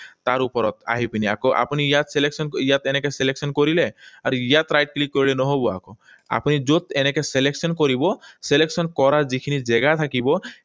তাৰ ওপৰত আহি পিনি আকৌ আপুনি ইয়াত এনেকৈ selection কৰিলে, আৰু ইয়াত right click কৰিলে নহব আকৌ। আপুনি যত এনেকৈ selection কৰিব, selection কৰা যিখিনি জেগা থাকিব,